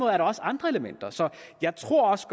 er der også andre elementer så jeg tror også